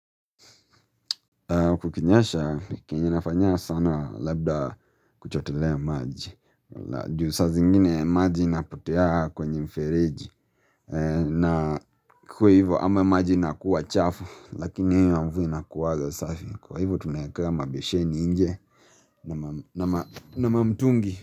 Kukinyesha kenye nafanyanga sana labda kuchotelea maji. Juu saa zingine maji inapotea kwenye mfereji. Na kukiwa hivyo ama maji inakuwa chafu, lakini hiyo ya mvua inakuwanga safi. Kwa hivyo tunawekanga mabesheni nje na mamtungi.